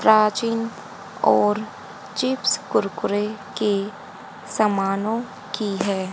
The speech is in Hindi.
प्राचीन और चिप्स कुरकुरे के समानों की है।